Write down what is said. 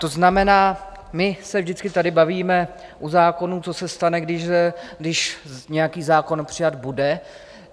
To znamená, my se vždycky tady bavíme u zákonů, co se stane, když nějaký zákon přijat bude.